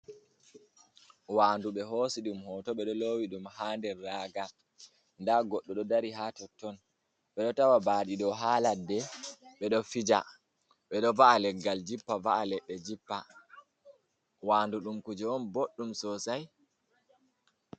Wandu ɓe hosi ɗum Hoto. Ɓeɗo Lowi ɗum Ha Nder Raga, Nda Goɗɗo ɗou Dari Ha Totton, Ɓedou Tawa Baɗi Ɗou Ha Ladde, Ɓedo Fija Ɓedo Va’a Leggal Jippa Va’a Ledde Jippa Wandu Ɗum Kuje on Boɗɗum Sosai.